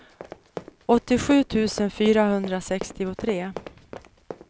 åttiosju tusen fyrahundrasextiotre